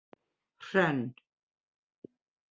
Hrönn